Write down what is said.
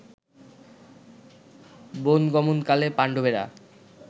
বনগমনকালে পাণ্ডবেরা